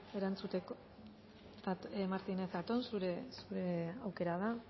erantzuteko martínez zatón zure aukera da